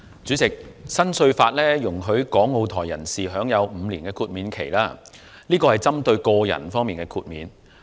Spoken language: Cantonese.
主席，新稅法容許港澳台人士享有5年豁免期，但這安排只針對個人。